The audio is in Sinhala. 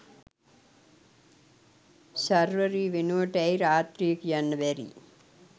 ශර්වරී වෙනුවට ඇයි රාත්‍රිය කියන්න බැරි